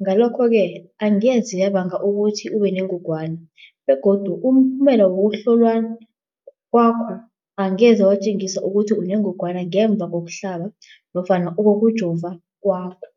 Ngalokho-ke angeze yabanga ukuthi ubenengogwana begodu umphumela wokuhlolwan kwakho angeze watjengisa ukuthi unengogwana ngemva kokuhlaba nofana kokujova kwakho.